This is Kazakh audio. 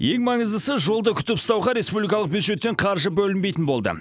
ең маңыздысы жолды күтіп ұстауға республикалық бюджеттен қаржы бөлінбейтін болды